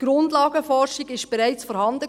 Die Grundlagenforschung war bereits vorhanden.